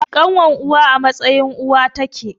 Ƙanwar uwa a matsayin uwa take